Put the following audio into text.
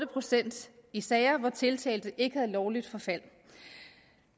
procent i sager hvor tiltalte ikke havde lovligt forfald